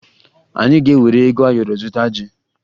Anyị ga-ewere ego ayọrọ zụta ji